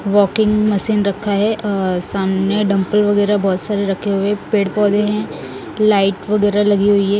Walking machine रखा है और सामने डंपे वगैरह बहुत सारे रखे हुए पेड़ पौधे हैं लाइट वगैरह लगी हुईं हैं।